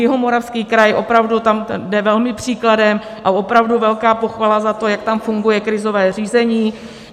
Jihomoravský kraj opravdu tam jde velmi příkladem a opravdu velká pochvala za to, že tam funguje krizové řízení.